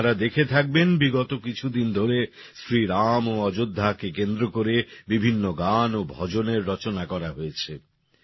আপনারা দেখে থাকবেন বিগত কিছুদিন ধরে শ্রীরাম ও অযোধ্যাকে কেন্দ্র করে বিভিন্ন গান ও ভজনের রচনা করা হয়েছে